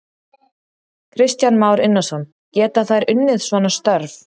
Kristján Már Unnarsson: Geta þær unnið svona störf?